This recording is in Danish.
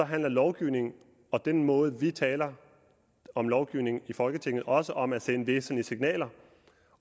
handler lovgivningen og den måde vi taler om lovgivningen i folketinget også om at sende væsentlige signaler